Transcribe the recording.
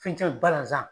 Fɛn caman balazan